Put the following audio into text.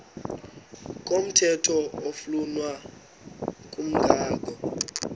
komthetho oflunwa ngumgago